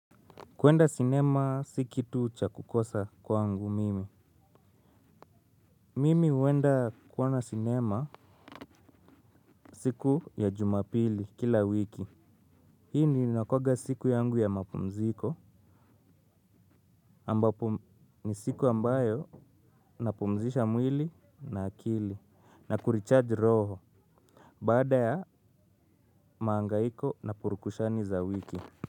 Kuenda sinema si kitu cha kukosa kwangu mimi. Mimi huenda kuona sinema siku ya jumapili kila wiki. Hii ndio inakuanga siku yangu ya mapumziko ambapo ni siku ambayo napumzisha mwili na akili na kurichaji roho. Baada ya mahangaiko na purukushani za wiki.